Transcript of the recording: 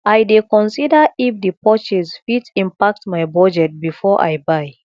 i dey consider if di purchase fit impact my budget before i buy